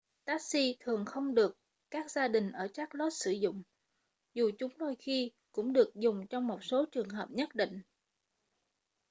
taxi thường không được các gia đình ở charlotte sử dụng dù chúng đôi khi cũng được dùng trong một số trường hợp nhất định